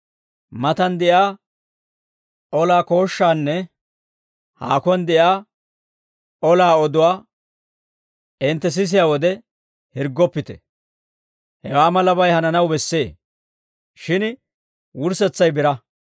Matan de'iyaa olaa kooshshaanne haakuwaan de'iyaa olaa oduwaa hintte sisiyaa wode, hirggoppite; hewaa malabay hananaw bessee; shin wurssetsay biraa.